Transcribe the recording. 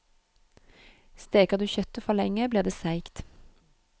Steker du kjøttet for lenge, blir det seigt.